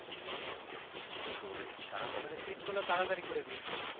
তোর তাড়াহুড়া